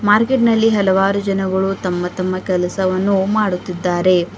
Market ನಲ್ಲಿ ಹಲವಾರು ಜನಗಳು ತಮ್ಮ ತಮ್ಮ ಕೆಲಸವನ್ನು ಮಾಡುತ್ತಿದ್ದಾರೆ.